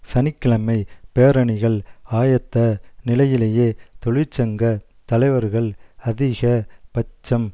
சனி கிழமை பேரணிகள் ஆயத்த நிலையிலேயே தொழிற்சங்க தலைவர்கள் அதிக பட்சம்